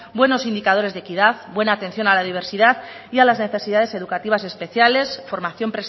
buenos indicadores de equidad buena atención a la diversidad y a las necesidades educativas especiales formación